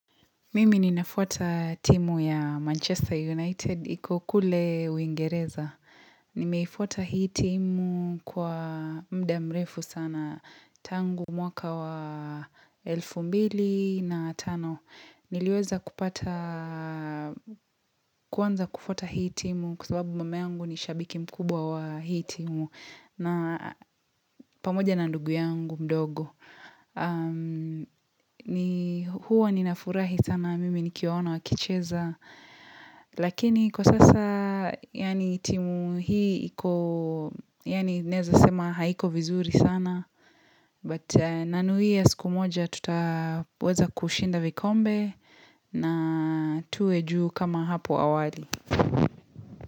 Mimi ninafuata timu ya Manchester United, ikokule uingereza. Nimefuata hii timu kwa muda mrefu sana, tangu mwaka wa elfu mbili na tano. Niliweza kupata, kuanza kufuata hii timu kwa sababu mume wangu ni shabiki mkubwa wa hii timu. Na pamoja na ndugu yangu mdogo. Huwa ninafurahi sana mimi nikiona wa kicheza lakini kwa sasa yani timu hii naweza sema haiko vizuri sana but nanuia siku moja tuta weza kushinda vikombe na tuwe juu kama hapo awali.